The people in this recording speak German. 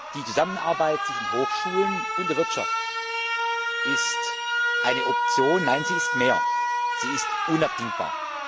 Die Zusammenarbeit zwischen Hochschulen und der Wirtschaft ist eine Option, nein, sie ist mehr, sie ist unabdingbar.